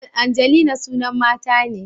Angelina sunan mata ne